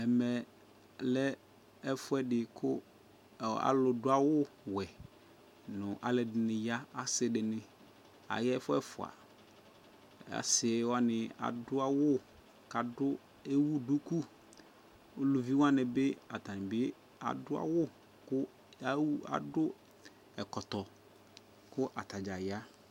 Ɛmɛ lɛ ɛfʋɛdɩ kʋ ɔ alʋ dʋawʋwɛ ,nʋ alʋɛdɩnɩ ya asɩdɩnɩ aya ɛfʋ ɛfʋa ; asɩwanɩ adʋ awʋ k'adʋ ewu duku Eluviwanɩ bɩ atanɩ bɩ adʋ awʋ ka ewu adʋ ɛkɔtɔ kʋ , atadza ya